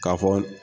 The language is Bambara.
K'a fɔ